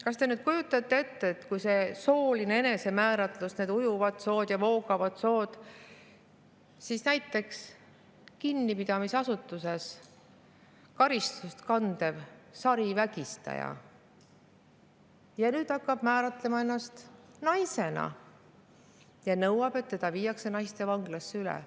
Kas te kujutate ette, et on see sooline enesemääratlus, on need ujuvad ja voogavad sood, ning näiteks kinnipidamisasutuses karistust kandev sarivägistaja hakkab määratlema ennast naisena ja nõuab, et ta viidaks üle naistevanglasse?